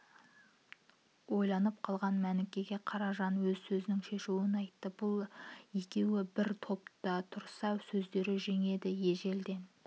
ойланып қалған мәнікеге қаражан өз сөзінің шешуін айтты бұл екеуі бір топ түрса сөздері жеңеді ежелден